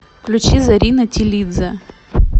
включи зарина тилидзе